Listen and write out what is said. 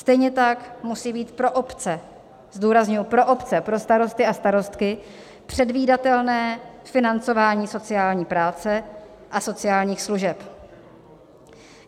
Stejně tak musí být pro obce, zdůrazňuji pro obce, pro starosty a starostky, předvídatelné financování sociální práce a sociálních služeb.